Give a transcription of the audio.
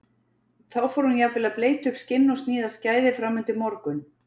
Þá fór hún jafnvel að bleyta upp skinn og sníða skæði fram undir morgun.